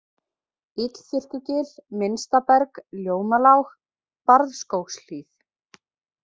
Illþurrkugil, Minnstaberg, Ljómalág, Barðskógshlíð